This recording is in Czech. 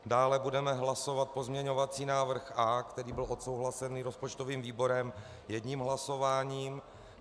Dále budeme hlasovat pozměňovací návrh A, který byl odsouhlasený rozpočtovým výborem, jedním hlasováním.